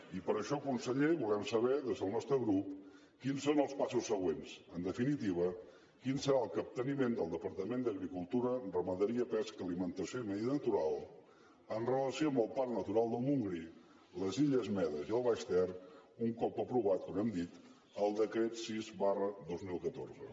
i per això conseller volem saber des del nostre grup quins són els passos següents en definitiva quin serà el capteniment del departament d’agricultura ramaderia pesca alimentació i medi natural amb relació al parc natural del montgrí les illes medes i el baix ter un cop aprovat com hem dit el decret sis dos mil catorze